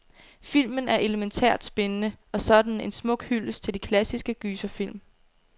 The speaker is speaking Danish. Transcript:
Filmen er elemæntært spændende, og så er den en smuk hyldest til de klassiske gyserfilm.